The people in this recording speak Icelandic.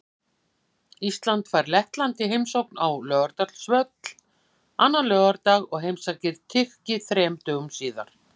Ísland fær Lettland í heimsókn á Laugardalsvöll annan laugardag og heimsækir Tyrki þremur dögum síðar.